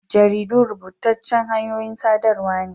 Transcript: Jaridu rubutaccan hanyoyin saɗarwa n